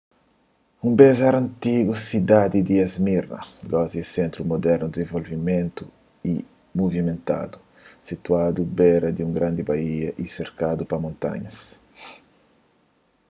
un bês éra antigu sidadi di esmirna gosi é un sentru mudernu dizenvolvidu y muvimentadu situadu bera di un grandi baía y serkadu pa montanhas